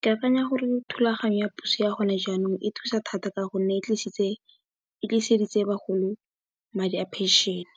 Ke akanya gore thulaganyo ya puso ya gone jaanong e thusa thata ka gonne, e tliseditse bagolo madi a phenšene